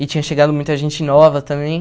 E tinha chegado muita gente nova também.